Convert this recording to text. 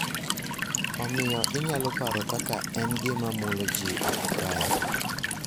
Omiyo inyalo paro kaka en gima mulo ji oko kae.